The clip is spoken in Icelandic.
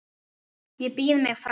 Ég býð mig fram.